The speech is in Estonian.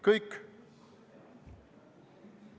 Kõik!